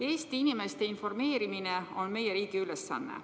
Eesti inimeste informeerimine on meie riigi ülesanne.